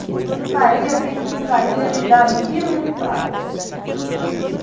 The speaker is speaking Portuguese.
No cari eu digo que o cari ele dá mil e um pratos.